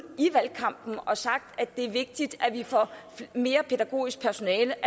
i valgkampen og sagt at det er vigtigt at vi får mere pædagogisk personale